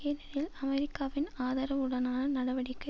ஏனெனில் அமெரிக்காவின் ஆதரவுடனான நடவடிக்கை